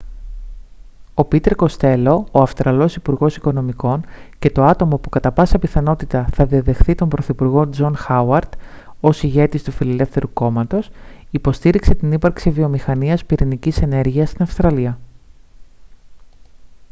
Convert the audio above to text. ο πίτερ κοστέλο ο αυστραλός υπουργός οικονομικών και το άτομο που κατά πάσα πιθανότητα θα διαδεχθεί τον πρωθυπουργό τζον χάουαρντ ως ηγέτης του φιλελεύθερου κόμματος υποστήριξε την ύπαρξη βιομηχανίας πυρηνικής ενέργειας στην αυστραλία